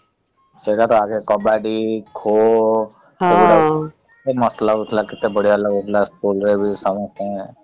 ସେ କଥା ଆଗ କବାଡି , ଖୋ ସମସ୍ତୁଙ୍କୁ ।